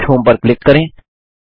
दश होम पर क्लिक करें